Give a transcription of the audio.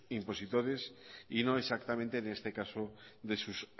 impositores y no exactamente en este caso de sus